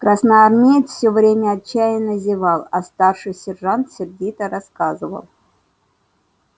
красноармеец все время отчаянно зевал а старший сержант сердито рассказывал